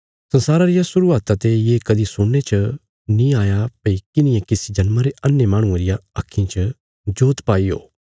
संसारा रिया शुरुआता ते ये कदीं सुणने च नीं आया भई किन्हिये किसी जन्मा रे अन्हे माहणुये रिया आक्खीं च जोत पाई ओ